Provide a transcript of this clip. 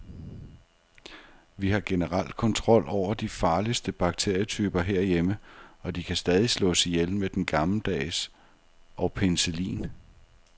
Vi har generelt kontrol over de farligste bakterietyper herhjemme, og de kan stadig slås ihjel med den gammeldags og penicillin.